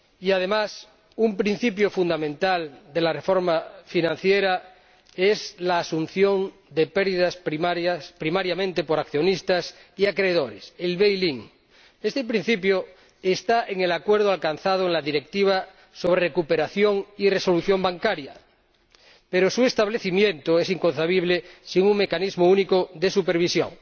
Además, un principio fundamental de la reforma financiera es la asunción de pérdidas primariamente por accionistas y acreedores la recapitalización interna Este principio está en el acuerdo alcanzado en la Directiva sobre recuperación y resolución bancaria, pero su establecimiento es inconcebible sin un Mecanismo Único de Supervisión.